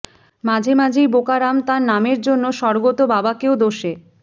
মাঝে মাঝেই বোকারাম তাঁর নামের জন্য স্বর্গত বাবাকেও দোষে